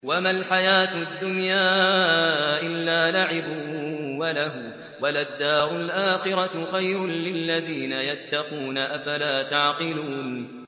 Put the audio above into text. وَمَا الْحَيَاةُ الدُّنْيَا إِلَّا لَعِبٌ وَلَهْوٌ ۖ وَلَلدَّارُ الْآخِرَةُ خَيْرٌ لِّلَّذِينَ يَتَّقُونَ ۗ أَفَلَا تَعْقِلُونَ